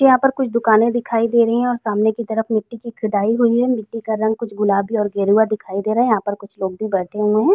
यहां पर कुछ दुकाने दिखाई दे रही हैं और सामने की तरफ मिट्टी की खुदाई हुई है। मिट्टी का रंग कुछ गुलाबी और गेरुआ हुआ दिखाई दे रहा है कुछ लोग भी बैठे हुए हैं।